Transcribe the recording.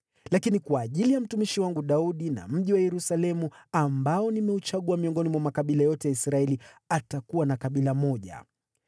Lakini kwa ajili ya mtumishi wangu Daudi na mji wa Yerusalemu, ambao nimeuchagua miongoni mwa makabila yote ya Israeli, atakuwa na kabila moja.